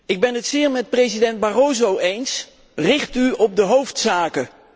Ik ben het zeer met president Barroso eens richt u op de hoofdzaken!